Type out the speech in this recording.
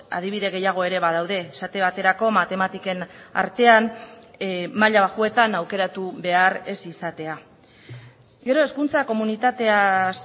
adibide gehiago ere badaude esate baterako matematiken artean maila baxuetan aukeratu behar ez izatea gero hezkuntza komunitatez